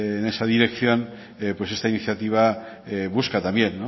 en esa dirección pues esta iniciativa busca también